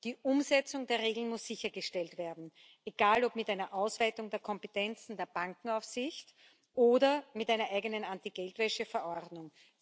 Die Umsetzung der Regeln muss sichergestellt werden, egal ob mit einer Ausweitung der Kompetenzen der Bankenaufsicht oder mit einer eigenen Anti Geldwäsche Verordnung.